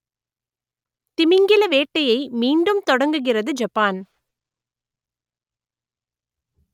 திமிங்கில வேட்டையை மீண்டும் தொடங்குகிறது ஜப்பான்